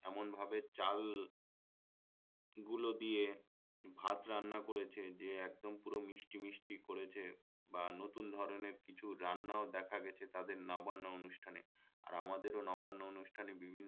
এমনভাবে চাল গুলো দিয়ে ভাত রান্না করেছে যে একদম পুরো মিষ্টি মিষ্টি করেছে বা নতুন ধরণের কিছু রান্নাও দেখা গেছে তাদের নবান্ন অনুষ্ঠানে আর আমাদেরও নবান্ন অনুষ্ঠানে বিভিন্ন